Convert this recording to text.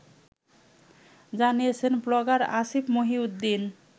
জানিয়েছেন ব্লগার আসিফ মহিউদ্দীন